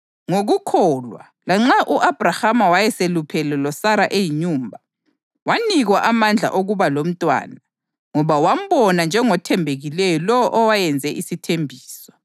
Ngokukholwa, lanxa u-Abhrahama wayeseluphele loSara eyinyumba, wanikwa amandla okuba lomntwana ngoba wambona njengothembekileyo lowo owayenze isithembiso.